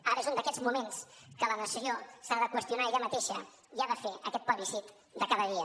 ara és un d’aquests moments que la nació s’ha de qüestionar a ella mateixa i ha de fer aquest plebiscit de cada dia